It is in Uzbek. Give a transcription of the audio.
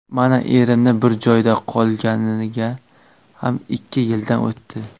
Mana erimni bir joyda qolganiga ham ikki yildan o‘tdi.